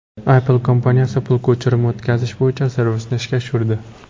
Apple kompaniyasi pul ko‘chirib o‘tkazish bo‘yicha servisni ishga tushirdi.